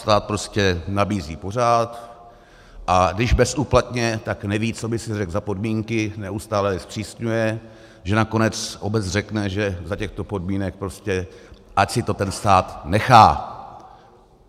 Stát prostě nabízí pořád, a když bezúplatně, tak neví, co by si řekl za podmínky, neustále je zpřísňuje, že nakonec obec řekne, že za těchto podmínek prostě ať si to ten stát nechá.